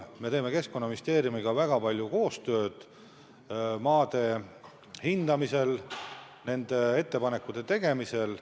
Me teeme Keskkonnaministeeriumiga väga palju koostööd maade hindamisel, sellekohaste ettepanekute tegemisel.